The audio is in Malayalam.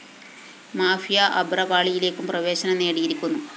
മാഫിയ അഭ്രപാളിയിലേക്കും പ്രവേശനം നേടിയിരിക്കുന്നു